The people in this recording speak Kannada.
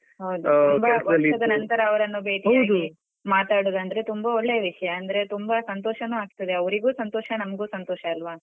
ಹೌದು ತುಂಬ ವರ್ಷದ ನಂತರ ಅವರನ್ನು ಬೇಟಿಯಾಗಿ ಮಾತಾಡುವುದಂದ್ರೆ ತುಂಬ ಒಳ್ಳೆಯ ವಿಷಯ ಅಂದ್ರೆ ತುಂಬ ಸಂತೋಷನೂ ಆಗ್ತದೆ ಅವ್ರಿಗೂ ಸಂತೋಷ ನಂಗೂ ಸಂತೋಷ ಅಲ್ವ.